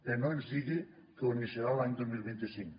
però no ens digui que ho iniciarà l’any dos mil vint cinc